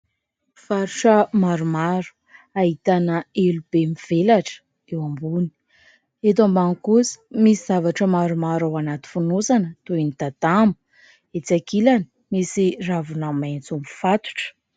Mpivarotra maromaro ahitana elo be mivelatra eo ambony, eto ambany kosa misy zavatra maromaro ao anaty fonosana toy ny tatamo, etsy ankilany misy ravina maitso mifatotra.